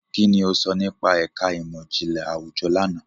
Kini o sọ nipa ẹka imọ-jinlẹ awujọ làná?